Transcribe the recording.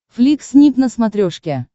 флик снип на смотрешке